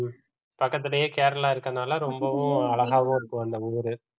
ஹம் பக்கத்திலேயே கேரளா இருக்கிறதுனால ரொம்பவும் அழகாவும் இருக்கும் அந்த ஊரு